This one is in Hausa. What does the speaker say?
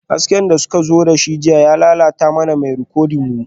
Hasken da suka zo da shi jiya ya lalata mana mai rikodin mu